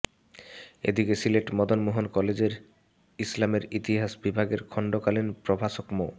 এদিকে সিলেট মদন মোহন কলেজের ইসলামের ইতিহাস বিভাগের খণ্ডকালিন প্রভাষক মো